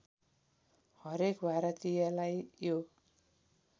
हरेक भारतीयलाई यो